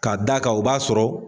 K'a d'a kan u b'a sɔrɔ